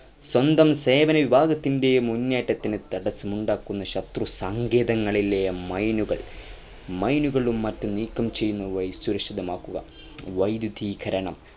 സ്വന്തം സേനാവിഭാഗത്തിൻ്റെ മുന്നേറ്റത്തിനു തടസ്സമുണ്ടാക്കുന്ന ശത്രുസങ്കേതങ്ങളിലെ മൈനുകൾ മൈനുകളും മറ്റും നീക്കം ചെയ്യുന്നതായി സുരക്ഷിതമാക്കു വൈധ്യുതീകരണം